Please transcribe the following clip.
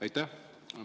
Aitäh!